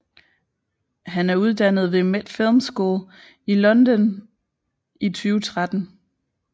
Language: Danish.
Han er uddannet ved Met Film School i London i 2013